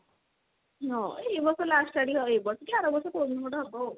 ହଁ ଏଇ ବର୍ଷ last ଆଡିକି ଏଇ ବର୍ଷ କି ଆର ବର୍ଷ କଉଦିନ ଗୋଟେ ହବ ଆଉ।